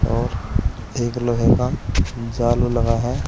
और एक लोहे का जाल लगा है।